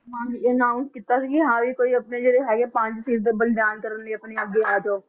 ਹਾਂ ਇਹ announce ਕੀਤਾ ਸੀ ਕਿ ਹਾਂ ਵੀ ਕੋਈ ਆਪਣੇ ਜਿਹੜੇ ਹੈਗੇ ਪੰਜ ਸਿਰ ਦਾ ਬਲਿਦਾਨ ਕਰਨ ਲਈ ਆਪਣੇ ਅੱਗੇ ਆ ਜਾਓ